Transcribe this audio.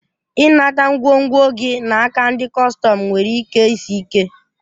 I nata ngwongwo gi naka ndi kọstọm nwere ike isi ike.